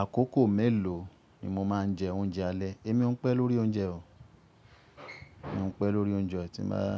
Àkókò mélòó ni mo máa ń jẹ oúnjẹ alẹ́? Èmi ò pẹ́ lórí oúnjẹ o. Èmi ò pẹ́ lórí oúnjẹ tí báa,